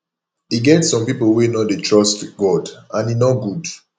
e get some people wey no dey trust god and e no good